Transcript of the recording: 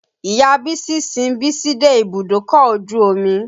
Ìya Bísí sin Bísí dé ibùdókọ̀ ojú omi.